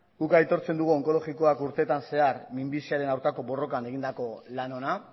guk aitortzen dugu onkologikoak urtetan zehar minbiziaren aurkako borrokan egindako lan ona